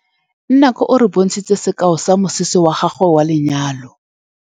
Nnake o re bontshitse sekaô sa mosese wa gagwe wa lenyalo.